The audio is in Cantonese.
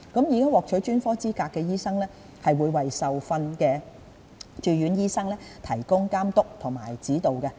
已獲取專科資格的醫生會為受訓中的駐院醫生提供監督和指導。